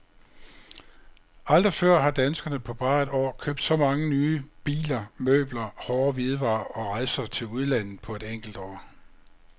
Aldrig før har danskerne på bare et år købt så mange nye biler, møbler, hårde hvidevarer og rejser til udlandet på et enkelt år.